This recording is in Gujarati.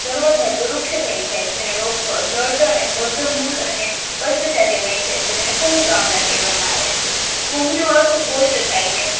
સર્વ ધાતુ વૃક્ષ થાય જાય છે અને ગાર્ડ અને બાર્ડ મૂળ જેને કુંડકમલા કહેવામાં આવે છે કૃમિનો અર્થ સ્ટષ્ટ થયા છે